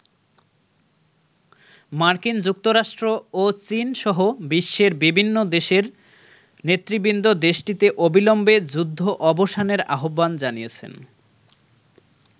মার্কিন যুক্তরাষ্ট্র ও চীন সহ বিশ্বের বিভিন্ন দেশের নেতৃবৃন্দ দেশটিতে অবিলম্বে যুদ্ধ অবসানের আহ্বান জানিয়েছেন।